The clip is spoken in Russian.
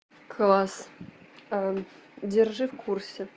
класс держи в курсе